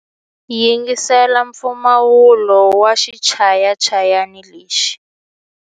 Yingisela mpfumawulo wa xichayachayani lexi.